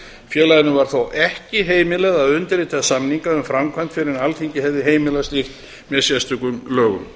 félaginu var þó ekki heimilað að undirrita samninga um framkvæmdir fyrr en alþingi hefði heimilað slíkt með sérstökum lögum